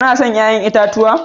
Kena son 'ƴa'ƴan itatuwa?